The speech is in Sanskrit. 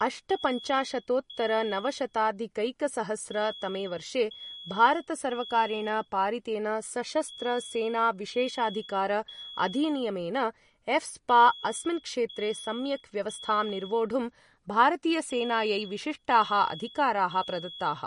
अष्टपञ्चाशतोत्तरनवशताधिकैकसहस्र तमे वर्षे भारतसर्वकारेण पारितेन सशस्त्र सेना विशेषाधिकार अधिनियमेन एफ़्स्पा अस्मिन् क्षेत्रे सम्यक् व्यवस्थां निर्वोढुं, भारतीयसेनायै विशिष्टाः अधिकाराः प्रदत्ताः।